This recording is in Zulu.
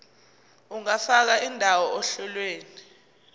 ungafaka indawo ohlelweni